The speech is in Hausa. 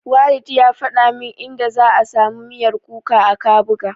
Walid ya faɗa min inda za'a samu miyar kuka a Kabuga.